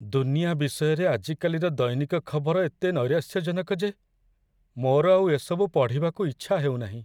ଦୁନିଆ ବିଷୟରେ ଆଜିକାଲିର ଦୈନିକ ଖବର ଏତେ ନୈରାଶ୍ୟଜନକ ଯେ ମୋର ଆଉ ଏ ସବୁ ପଢ଼ିବାକୁ ଇଚ୍ଛା ହେଉନାହିଁ।